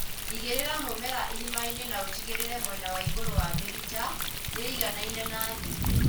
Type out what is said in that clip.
Igĩrĩra mũmera irimainĩ na ũtigĩrĩre mwena wa igũrũ wa mĩrita nĩ ĩiganaine na thĩ